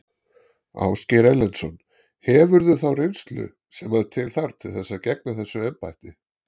Ásgeir Erlendsson: Hefurðu þá reynslu sem að til þarf til þess að gegna þessu embætti?